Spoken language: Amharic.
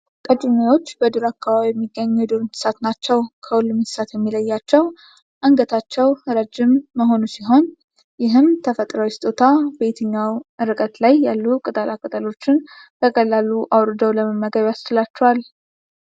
ቀጭኔዎች በዱር አካባቢ የሚገኙ የዱር እንስሳት ናቸው። ከሁሉም እንስሳት የሚለያቸው አንገታቸውን ረጅም መሆኑ ሲሆን ይህም ተፈጥሯዊ ስጦታ በየትኛውም እርቀት ላይ ያሉ ቅጠላቅጠሎች በቀላሉ አውርደው ለመመገብ ያስችላቸዋል።